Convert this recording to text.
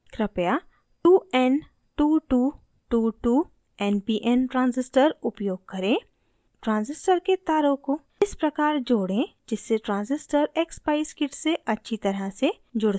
कृपया 2n2222 npn transistor उपयोग करें transistor के तारों को इस प्रकार जोड़ें जिससे transistor expeyes kit से अच्छी तरह से जुड़ सके